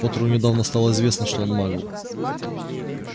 поттеру недавно стало известно что он магл